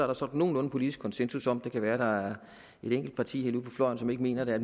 jo sådan nogenlunde politisk konsensus om det kan være at der er et enkelt parti helt ude på fløjen som ikke mener det